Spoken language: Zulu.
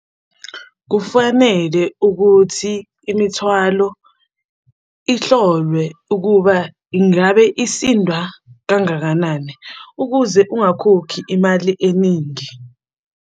Kufanele ukuthi imithwalo ihlolwe ukuba ingabe isindwa kangakanani, ukuze ungakhokhi imali eningi.